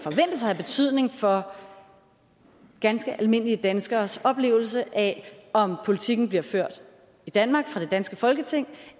have betydning for ganske almindelige danskeres oplevelse af om politikken bliver ført i danmark af det danske folketing